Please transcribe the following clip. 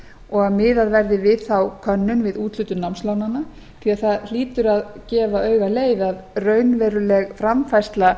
og miðað verði við þá könnun við úthlutun námslánanna því það hlýtur að gefa auga leið að raunveruleg framfærsla